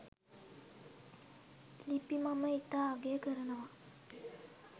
ලිපි මම ඉතා අගය කරනවා.